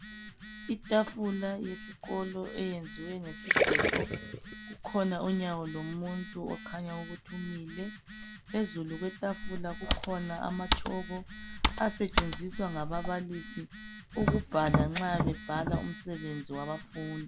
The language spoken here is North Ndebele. Itafula yesikolo eyenziwe ngesigodo. Kukhona unyawo lomuntu okhanya ukuthi umile. Phezulu kwetafula kukhona amatshoko asetshenziswa ngababalisi ukubhala nxa bebhala umsebenzi wabafundi.